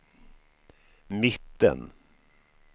mitten